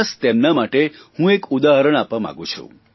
ખાસ તેમના માટે હું એક ઉદાહરણ આપવા માગું છું